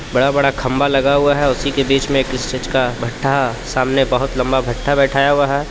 बड़ा बड़ा खम्भा लगा हुआ हे उसीके बीचमे एक किस चिज का भट्ठा सामने बोहोत लम्बा भट्ठा बैठाया हुआ हे.